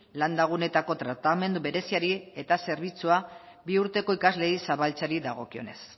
landa guneetako tratamendu bereziari eta zerbitzua bi urteko ikasleei zabaltzeari dagokionez